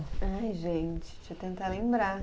Ai, gente, deixa eu tentar lembrar.